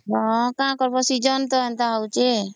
ହଁ କା କରବା Season ତା ଏନ୍ତା ହଉଛେ